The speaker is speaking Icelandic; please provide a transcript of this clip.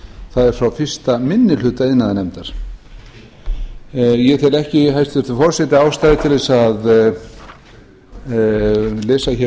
það er frá fyrstu minni hluta iðnaðarnefndar ég tel ekki hæstvirtur forseti ástæðu til þess að lesa hér